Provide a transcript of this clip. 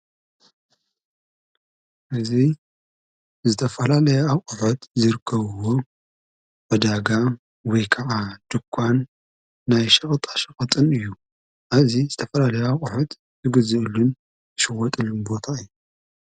እዙይ ዝተፋላ ለየ ኣብቕፈት ዝርከውዎ ወዳጋ ወይ ከዓ ድኳን ናይ ሽቕጣሽቐጥን እዩ እዝ ዝተፈላለይ ኣብቝሕት ዝግዘአሉን ይሽወጥሉ ቦታ አዩ ::